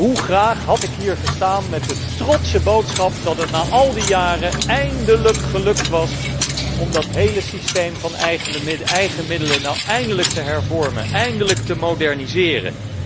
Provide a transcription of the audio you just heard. Hoe graag had ik hier gestaan met de trotse boodschap dat het na al die jaren eindelijk gelukt was om dat hele systeem van eigen middelen nu eindelijk te hervormen en te moderniseren.